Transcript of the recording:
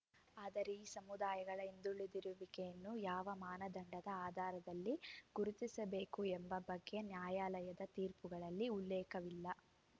ಆದರೆ ಈ ಸಮುದಾಯಗಳ ಹಿಂದುಳಿದಿರುವಿಕೆಯನ್ನು ಯಾವ ಮಾನದಂಡದ ಆಧಾರದಲ್ಲಿ ಗುರುತಿಸಬೇಕು ಎಂಬ ಬಗ್ಗೆ ನ್ಯಾಯಾಲಯದ ತೀರ್ಪುಗಳಲ್ಲಿ ಉಲ್ಲೇಖವಿಲ್ಲ